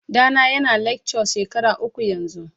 Ɗana yana lecture shekara uku yanzu.